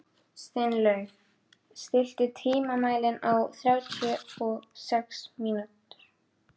Steinlaug, stilltu tímamælinn á þrjátíu og sex mínútur.